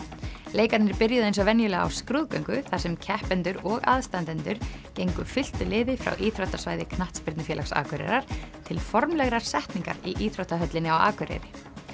leikarnir byrjuðu eins og venjulega á skrúðgöngu þar sem keppendur og aðstandendur gengu fylktu liði frá íþróttasvæði knattspyrnufélags Akureyrar til formlegrar setningar í íþróttahöllinni á Akureyri